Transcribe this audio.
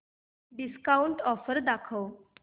discount offer दाखव